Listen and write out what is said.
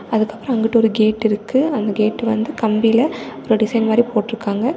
அதுக்கப்றோ அங்கிட்டு ஒரு கேட் இருக்கு அந்த கேட் வந்து கம்பில ஒரு டிசைன் மாதிரி போட்ருக்காங்க.